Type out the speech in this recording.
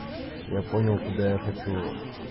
я понял куда я хочу